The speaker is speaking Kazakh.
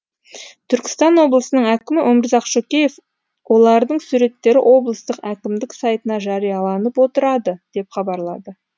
түркістан облысының әкімі өмірзақ шөкеев олардың суреттері облыстық әкімдік сайтына жарияланып отырады деп хабарлады